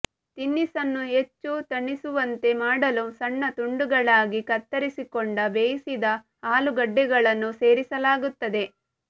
ತಿನಿಸನ್ನು ಹೆಚ್ಚು ತಣಿಸುವಂತೆ ಮಾಡಲು ಸಣ್ಣ ತುಂಡುಗಳಾಗಿ ಕತ್ತರಿಸಿಕೊಂಡ ಬೇಯಿಸಿದ ಆಲೂಗಡ್ಡೆಗಳನ್ನು ಸೇರಿಸಲಾಗುತ್ತದೆ